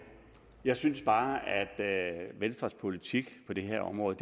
jeg synes bare at venstres politik på det her område